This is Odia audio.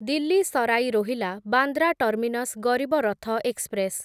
Delhi Sarai Rohilla Bandra terminus Garib Rath express